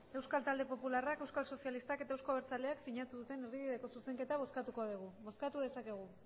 euskal talde popularrak euskal sozialistak eta euzko abertzaleak sinatu duten erdibideko zuzenketa bozkatuko dugu bozkatu dezakegu